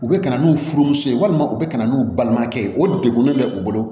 U bɛ ka na n'u furumuso ye walima u bɛ ka na n'u balimakɛ ye o degunen bɛ u bolo